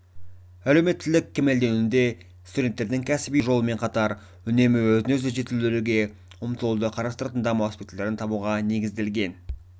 әлеуметтілік кемелденуде студенттердің кәсіби өсу жолымен қатар үнемі өзін-өзі жетілдіруге ұмтылуды қарастыратын даму аспектілерін табуға негізделген